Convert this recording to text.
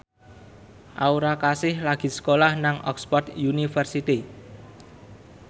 Aura Kasih lagi sekolah nang Oxford university